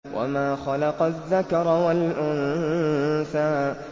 وَمَا خَلَقَ الذَّكَرَ وَالْأُنثَىٰ